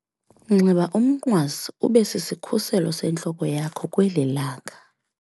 Nxiba umnqwazi ube sisikhuselo sentloko yakho kweli langa.